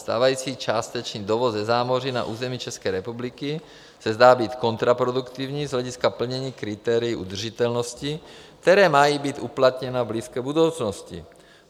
Stávající částečný dovoz ze zámoří na území České republiky se zdá být kontraproduktivní z hlediska plnění kritérií udržitelnosti, která mají být uplatněna v blízké budoucnosti.